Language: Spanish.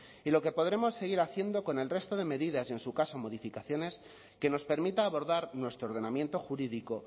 y lo que podremos seguir haciendo con el resto de medidas y en su caso modificaciones que nos permita abordar nuestro ordenamiento jurídico